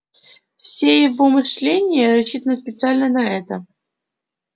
все его мышление рассчитано специально на это